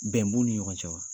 Bɛn b'u ni ɲɔgɔn cɛ wa?